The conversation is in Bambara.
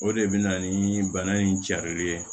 O de bɛ na ni bana in carilen ye